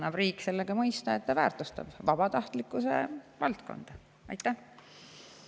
Riik annab sellega mõista, et ta väärtustab vabatahtlikkuse.